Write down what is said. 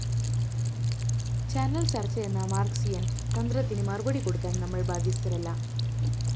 channel ചര്‍ച്ചയെന്ന Marxian‍ തന്ത്രത്തിന് മറുപടി കൊടുക്കാന്‍ നമ്മള്‍ ബാദ്ധ്യസ്ഥരല്ല